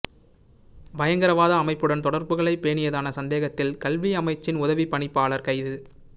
பயங்கரவாத அமைப்புடன் தொடர்புகளைப் பேணியதான சந்தேகத்தில் கல்வியமைச்சின் உதவிப் பணிப்பாளர் கைது